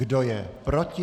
Kdo je proti?